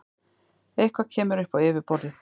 Eitthvað kemur upp á yfirborðið